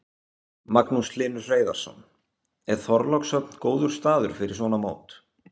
Magnús Hlynur Hreiðarsson: Er Þorlákshöfn góður staður fyrir svona mót?